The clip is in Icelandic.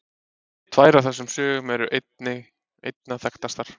Tvær af þessum sögum eru einna þekktastar.